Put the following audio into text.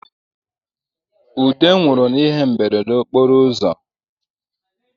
Ude nwụrụ n’ihe mberede okporo ụzọ